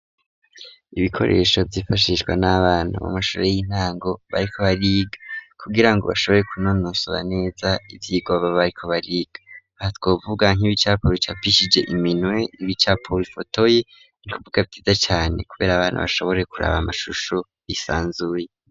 Ibikoresho vyifashishwa nabantu mu mashure y'intango bariko ba riga kugirango bashobore kunononsora neza ivyigoba bariko bariga batwovuga nk'ibicapa bicapishije iminwee ibicapo bifotoye inkubuka nziza cane kubera abantu bashobore kuraba amashusho bisanzuye.